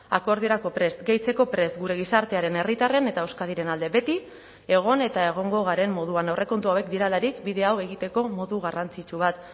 akordiorako prest gehitzeko prest gure gizartearen herritarren eta euskadiren alde beti egon eta egongo garen moduan aurrekontu hauek direlarik bide hau egiteko modu garrantzitsu bat